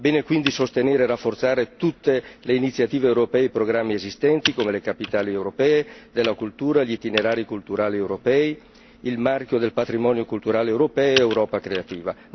È giusto, quindi, sostenere e rafforzare tutte le iniziative europee e i programmi esistenti, come le capitali europee della cultura, gli itinerari culturali europei, il marchio del patrimonio culturale europeo ed Europa creativa.